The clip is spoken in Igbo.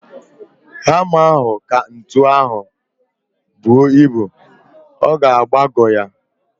Hama ahu ka ntu ahu buo ibu. Ọ ga-agbagọ ya